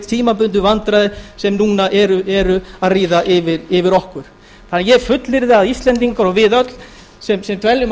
tímabundnu vandræði sem núna eru að ríða yfir okkur ég fullyrði því að íslendingar og við öll sem dveljum á